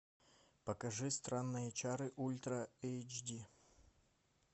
покажи странные чары ультра эйч ди